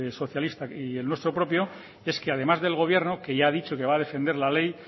socialistak y el nuestro propio es que además del gobierno que ya ha dicho que va a defender la ley